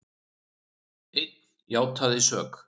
Einn játaði sök